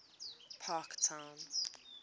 parktown